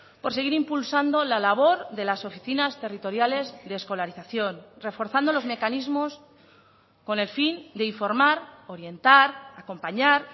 por seguir impulsando la labor de las oficinas territoriales de escolarización reforzando los mecanismos con el fin de informar orientar acompañar